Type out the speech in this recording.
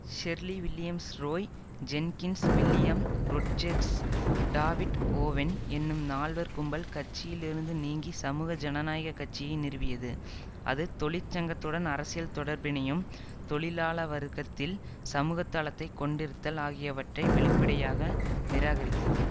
Shirley Williams Roy Jenkins William Rodgers David Owen என்னும் நால்வர் கும்பல் கட்சியில் இருந்து நீங்கி சமூக ஜனநாயக கட்சியை நிறுவியது அது தொழிற்சங்கத்துடன் அரசியல் தொடர்பினையும் தொழிலாளவர்க்கத்தில் சமூகதளத்தை கொண்டிருத்தல் ஆகியவற்றை வெளிப்படையாக நிராகரித்தது